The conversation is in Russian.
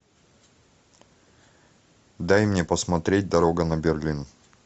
дай мне посмотреть дорога на берлин